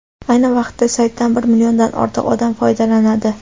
Ayni vaqtda saytdan bir milliondan ortiq odam foydalanadi.